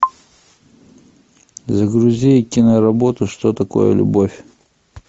загрузи киноработу что такое любовь